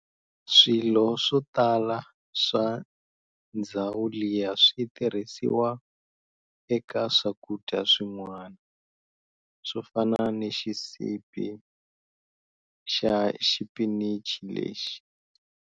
Swilo swotala swa ndzhawu liya switirhisiwa eka swakudya swin'wana, swofana na xisibi xa xipinichi lexi.